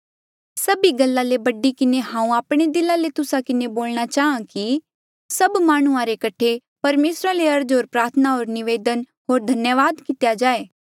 सभी गल्ला ले बड़ी किन्हें हांऊँ आपणे दिला ले तुस्सा किन्हें बोलणा चाहां कि सभ माह्णुंआं रे कठे परमेसरा ले अर्ज होर प्रार्थना होर निवेदन होर धन्यावाद कितेया जाए